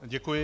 Děkuji.